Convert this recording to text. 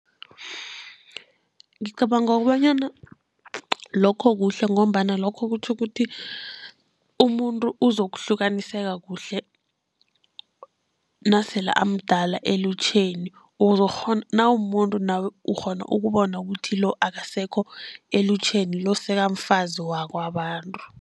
Ngicabanga kobanyana lokho kuhle, ngombana lokho kutjho ukuthi umuntu uzokuhlukaniseka kuhle nasele amdala elutjheni. Nawumumuntu nawe ukghona ukubona ukuthi lo akasekho elutjheni, lo sekamfazi wakwabantu.